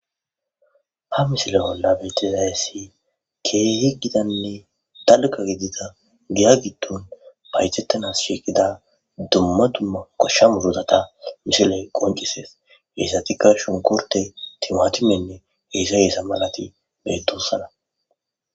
Ha misile olla betizayassi keehi gidanne dalga gidida giya giddon baytettanas shiqida dumma dumma koshsha murudata misiley qoncisees heyssatikka shonkorte timaatimenne heyssa heesa malati betossana.